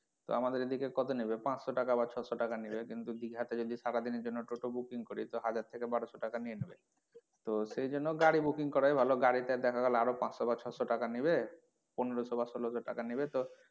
তো আমাদের এদিকে কতো নেবে পাঁচশো টাকা বা ছয়শো টাকা নিলো কিন্তু দিঘা তে যদি সারাদিনের জন্য টোটো booking করি তো হাজার টাকা বারশো টাকা নিয়ে নেবে তো সেজন্য গাড়ি booking করাই ভালো গাড়ি তে দেখা গেলো আরও পাঁচশো বা ছয়শো টাকা নিবে, পনেরশো বা ষোলোশো টাকা নিবে তো,